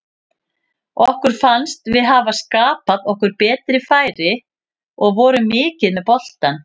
Okkur fannst við hafa skapað okkur betri færi og vorum mikið með boltann.